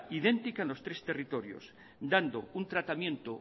idéntica a los tres territorios dando un tratamiento